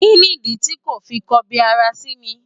Kí nìdí ti ko fi ń kọbi ara sí mi?